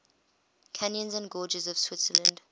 canyons and gorges of switzerland